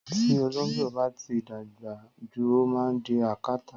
Tí olóngbò bá ti dàgbà jù ó máa di akátá